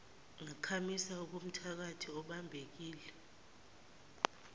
ngakhamisa okomthakathi ebambekile